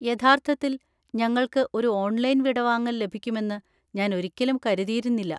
യഥാർത്ഥത്തിൽ, ഞങ്ങൾക്ക് ഒരു ഓൺലൈൻ വിടവാങ്ങൽ ലഭിക്കുമെന്ന് ഞാൻ ഒരിക്കലും കരുതിയിരുന്നില്ല.